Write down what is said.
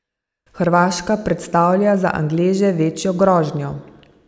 Hrvaška predstavlja za Angleže večjo grožnjo.